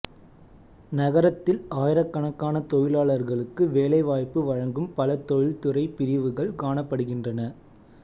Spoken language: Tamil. நகரத்தில் ஆயிரக்கணக்கான தொழிலாளர்களுக்கு வேலைவாய்ப்பு வழங்கும் பல தொழிற்துறை பிரிவுகள் காணப்படுகின்றன